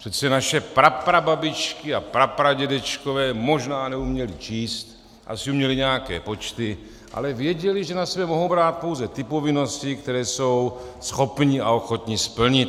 Přece naše praprababičky a prapradědečkové možná neuměli číst, asi uměli nějaké počty, ale věděli, že na sebe mohou brát pouze ty povinnosti, které jsou schopni a ochotni splnit.